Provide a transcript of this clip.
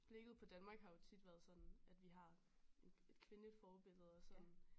Blikket på Danmark har tit været sådan at vi har en et kvindeforbillede og som